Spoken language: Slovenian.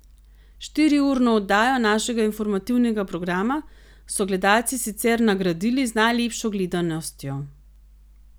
Štiriurno oddajo našega informativnega programa so gledalci sicer nagradili z najlepšo gledanostjo.